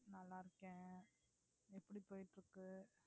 நல்லாருக்கேன். எப்படி போயிட்டிருக்கு